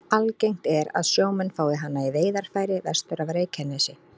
Algengt er að sjómenn fái hana í veiðarfæri vestur af Reykjanesi.